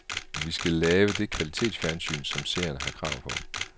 Vi skal lave det kvalitetsfjernsyn, som seerne har krav på.